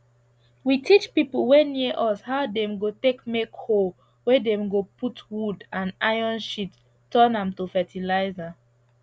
we teach people wey near us how dem go take make hole wey dem go put wood and iron shit turn am to fertiliser